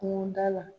Kungoda la